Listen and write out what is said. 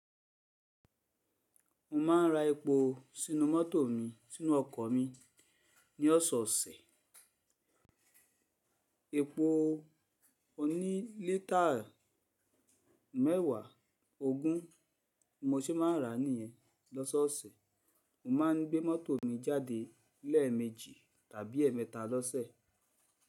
Mo ma ń ra epo sínú mọ́tò mi sínú ọkọ̀ mi ní ọ̀sẹ̀ osẹ̀. Epo oní lítáà mẹ́wàá ogún mo ṣe ma ń rà á níyẹn lọ́sọ̀ọ̀sẹ̀. Mo ma ń gbé mọ́tò mi jáde lẹ́ẹ̀mẹ́jì tàbí ẹ̀ẹ̀mẹ́ta lọ́sẹ̀.